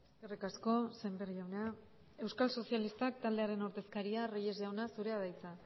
eskerrik asko sémper jauna euskal sozialista taldearen ordezkaria den reyes jauna zurea da hitza